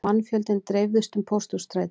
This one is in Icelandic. Mannfjöldinn dreifðist um Pósthússtræti